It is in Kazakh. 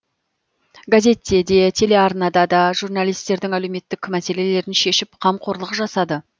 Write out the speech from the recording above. газетте де телеарнада да журналистердің әлеуметтік мәселелерін шешіп қамқорлық жасады